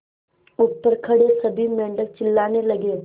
ऊपर खड़े सभी मेढक चिल्लाने लगे